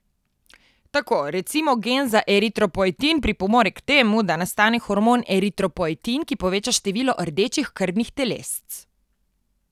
Tako, recimo, gen za eritropoetin pripomore k temu, da nastane hormon eritropoetin, ki poveča število rdečih krvnih telesc.